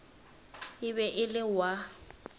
e be e le wa